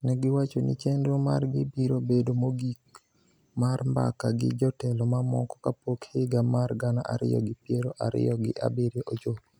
Ne giwacho ni chenro margi biro bedo mogik mar mbaka gi jotelo mamoko kapok higa mar gana ariyo gi piero ariyo gi ariyo ochopo.